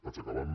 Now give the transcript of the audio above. vaig acabant